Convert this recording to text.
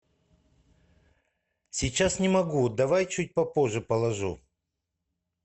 сейчас не могу давай чуть попозже положу